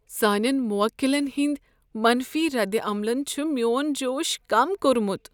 سانین موکلن ہٕندۍ منفی ردعملن چھ میون جوش کم کوٚرمت۔